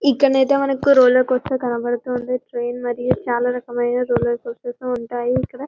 ఇక్కడ అయితే మనకు రోలర్ కొలస్టర్ కనబడుతుంది ట్రైన్ మద్దిగా చాలా రకమైన రోలర్ కోస్టార్స్ ఉంటాయి ఇక్కడ--